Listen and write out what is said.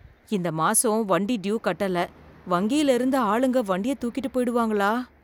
இந்த மாசம் வண்டி டியூ கட்டல, வங்கியில இருந்து ஆளுங்க வண்டிய தூக்கிட்டு போயிடுவாங்களா.